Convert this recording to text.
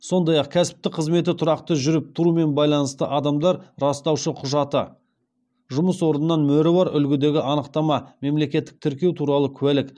сондай ақ кәсіптік қызметі тұрақты жүріп тұрумен байланысты адамдар растаушы құжаты